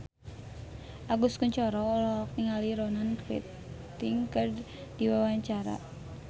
Agus Kuncoro olohok ningali Ronan Keating keur diwawancara